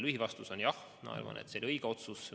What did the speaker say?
Lühivastus on: jah, ma arvan, et see oli õige otsus.